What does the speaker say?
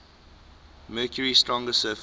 mercury's stronger surface